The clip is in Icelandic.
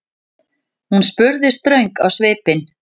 spurði hún ströng á svipinn.